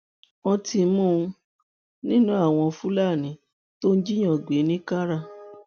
wọtí mú an nínú àwọn fúlàní tó ń jíìyàn gbé ní kààrà